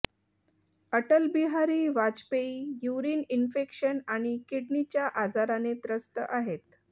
Atal Bihari Vajpayee urine infection आणि किडनीच्या आजाराने त्रस्त आहेत